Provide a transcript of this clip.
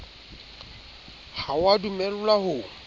ha o a dumellwa ho